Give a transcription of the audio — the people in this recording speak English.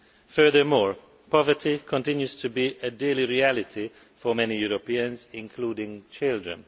Furthermore, poverty continues to be a daily reality for many Europeans including children.